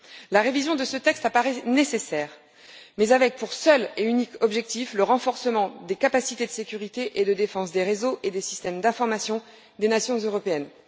La révision de ce texte apparaît nécessaire, mais avec pour seul et unique objectif le renforcement des capacités de sécurité et de défense des réseaux et des systèmes d'information des nations européennes.